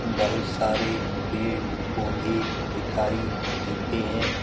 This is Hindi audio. बहुत सारे पेड़-पौधे दिखाई देते हैं।